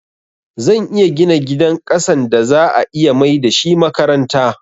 Zan iya gina gidan ƙasan da za'a iya maida shi makaranta